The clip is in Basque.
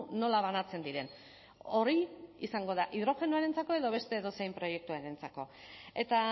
nola banatzen diren hori izango da hidrogenoarentzako edo beste edozein proiektuarentzako eta